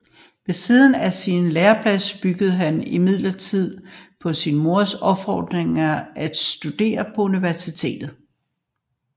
Ved siden af sin læreplads begyndte han imidlertid på sin mors opfordring at studere på universitetet